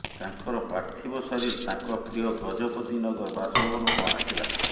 ତାଙ୍କର ପାର୍ଥିବ ଶରୀର ତାଙ୍କ ପ୍ରିୟ ଗଜପତି ନଗର ବାସଭବନକୁ ଆସିଲା